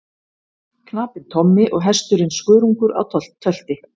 Knapinn Tommi og hesturinn Skörungur á tölti.